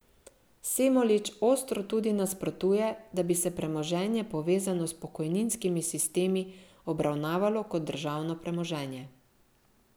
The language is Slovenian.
Semolič ostro tudi nasprotuje, da bi se premoženje povezano s pokojninskimi sistemi obravnavalo kot državno premoženje.